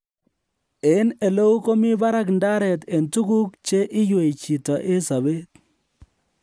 en eleu komi barak ndaret en tuguk che iywei chito en sobeet